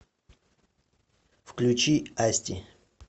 включи асти